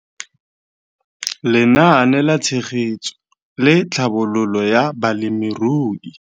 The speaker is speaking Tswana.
Lenaane la Tshegetso le Tlhabololo ya Balemirui